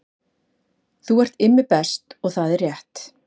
Þú ert Immi Best og það er rétt